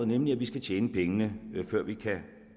nemlig at vi skal tjene pengene før vi